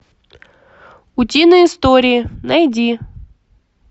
утиные истории найди